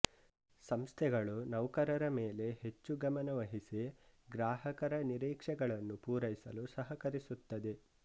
ಸಂಸ್ಥೆಗಳು ನೌಕರರ ಮೆಲೆ ಹೆಚ್ಛು ಗಮನವಹಿಸಿ ಗ್ರಾಹಕರ ನಿರೀಕ್ಷೆಗಳನ್ನು ಪೂರೈಸಲು ಸಹಕರಿಸುತ್ತದೆ